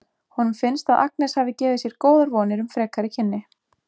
Honum finnst að Agnes hafi gefið sér góðar vonir um frekari kynni.